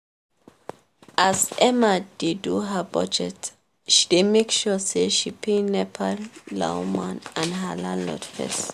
as emma dey do her budget she dey make sure say she pay nepa lawma and her landlord fees.